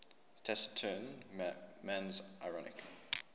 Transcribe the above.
taciturn man's ironic